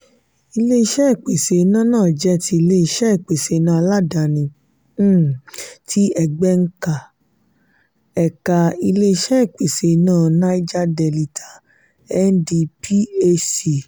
ile-iṣẹ ìpèsè iná náà jẹ́ tí ilé-iṣé ìpèsè iná aládàáni um tí egbema ẹ̀ka ilé-iṣé ìpèsè iná naija delita (ndphc).